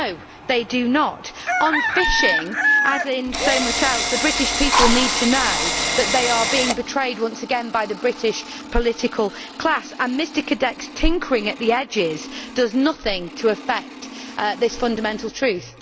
No, they do not. On fishing, as in so much else, the British people need to know that they are being betrayed once again by the British political class and Mr Cadec's tinkering at the edges does nothing to affect this fundamental truth.